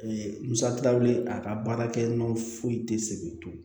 musaka wele a ka baarakɛ minɛn foyi tɛ se k'i to